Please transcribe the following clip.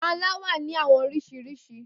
Panla wa ni awọn oriṣiriṣi.